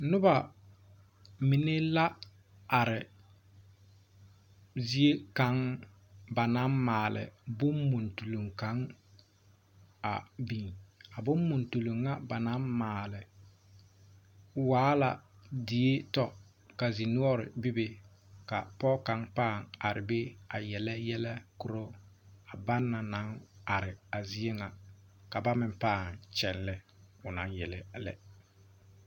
Nobɔ mine la are zie kaŋ ba naŋ maale bonmuntuloŋ kaŋ a biŋ a bonmuntuloŋ ŋa ba naŋ maale waala die tɔ ka zinoɔre bebe ka pɔge kaŋ pãã are be a yele yɛlɛ korɔ ban naŋ are a zie ŋa ka ba meŋ pãã kyɛllɛ onaŋ yele a lɛ.